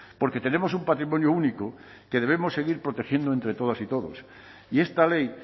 porque tenemos un patrimonio único que debemos seguir protegiendo entre todas y todos y esta ley